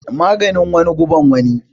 Maganin wani guban wani